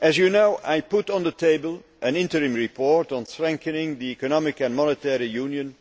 As you know, I put on the table an interim report on strengthening economic and monetary union,